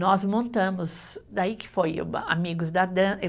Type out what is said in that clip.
Nós montamos, daí que foi o Amigos da